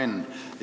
Hea Henn!